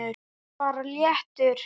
Vertu bara léttur!